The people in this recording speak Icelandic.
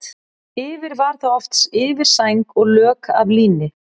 Yfir var þá oft yfirsæng og lök af líni.